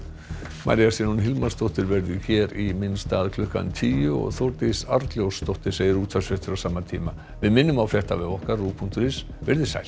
María Sigrún Hilmarsdóttir verður hér í minn stað klukkan tíu og Þórdís Arnljótsdóttir segir útvarpsfréttir á sama tíma við minnum á fréttavef okkar rúv punktur is veriði sæl